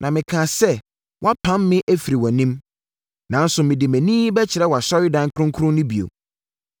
Na mekaa sɛ, ‘Wɔapam me afiri wʼanim; nanso mede mʼani bɛkyerɛ wʼasɔredan kronkron no bio’